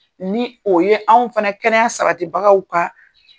Ni o ye anw fana kɛnɛya sabatibagaw ka.